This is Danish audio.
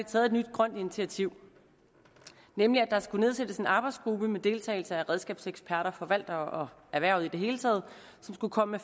taget et nyt grønt initiativ nemlig at der skulle nedsættes en arbejdsgruppe med deltagelse af redskabseksperter forvaltere og erhvervet i det hele taget som skulle komme